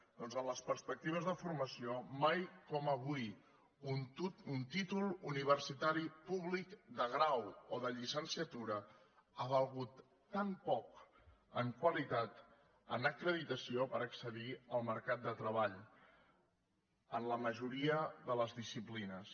doncs en les perspectives de formació mai com avui un títol universitari públic de grau o de llicenciatura ha valgut tan poc en qualitat en acreditació per accedir al mercat de treball en la majoria de les disciplines